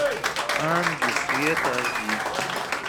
ангел света аш ди